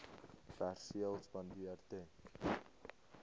perseel spandeer ten